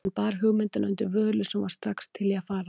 Hann bar hugmyndina undir Völu, sem var strax til í að fara.